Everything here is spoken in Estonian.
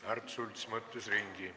Märt Sults mõtles ümber.